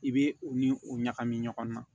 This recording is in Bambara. I bɛ u ni u ɲagami ɲɔgɔn na